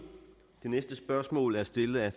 det næste spørgsmål er stillet af